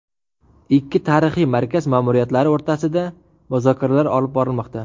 Ikki tarixiy markaz ma’muriyatlari o‘rtasida muzokaralar olib borilmoqda.